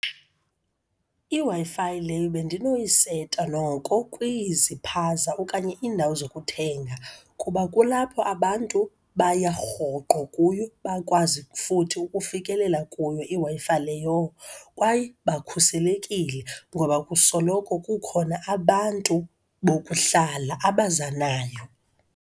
IWi-Fi le bendinoyiseta noko kwiziphaza okanye indawo zokuthenga kuba kulapho abantu baya rhoqo kuyo bakwazi futhi ukufikelela kuyo iWi-Fi leyo, kwaye bakhuselekile ngoba kusoloko kukhona abantu bokuhlala abazanayo.